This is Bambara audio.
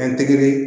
An tɛgɛ